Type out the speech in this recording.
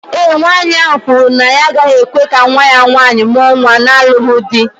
Ee e, nwanyị ahụ kwuru na ya agaghị ekwe ka nwa ya nwaanyị mụọ nwa na-alụghị di